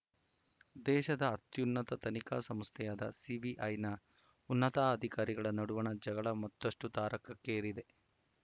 ದೇಶದ ಅತ್ಯುನ್ನತ ತನಿಖಾ ಸಂಸ್ಥೆಯಾದ ಸಿಬಿಐ ನ ಉನ್ನತಾಧಿಕಾರಿಗಳ ನಡುವಣ ಜಗಳ ಮತ್ತಷ್ಟುತಾರಕಕ್ಕೇರಿದೆ